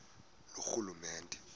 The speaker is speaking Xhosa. loorhulumente